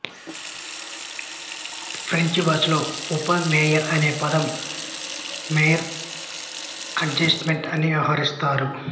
French భాషలో ఉప mayor అనే పదం మైర్ అడ్జాయింట్ అని వ్యవహరిస్తారు